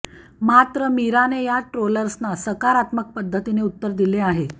मात्र मीराने या ट्रोल्सना सकारात्मक पद्धतीने उत्तर दिलं आहे